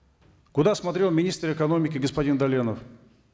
куда смотрел министр экономики господин даленов